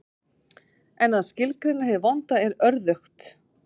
En að skilgreina hið vonda er örðugt.